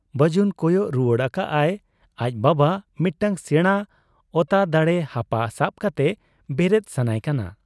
ᱵᱟᱹᱡᱩᱱ ᱠᱚᱭᱚᱜ ᱨᱩᱣᱟᱹᱲ ᱟᱠᱟᱜ ᱟᱭ ᱟᱡ ᱵᱟᱵᱟ ᱢᱤᱫᱴᱟᱹᱝ ᱥᱮᱬᱟ ᱚᱛᱟ ᱫᱟᱲᱮ ᱦᱟᱯᱟ ᱥᱟᱵ ᱠᱟᱛᱮ ᱵᱮᱨᱮᱫ ᱥᱟᱱᱟᱭ ᱠᱟᱱᱟ ᱾